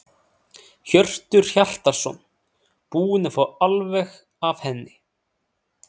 Hjörtur Hjartarson: Búin að fá alveg af henni?